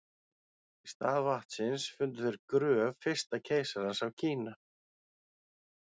í stað vatnsins fundu þeir gröf fyrsta keisarans af kína